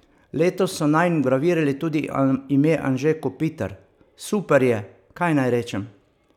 Letos so nanj vgravirali tudi ime Anže Kopitar: "Super je, kaj naj rečem.